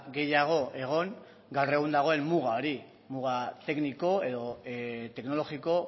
gehiago egon gaur egun dagoen muga hori muga tekniko edo teknologiko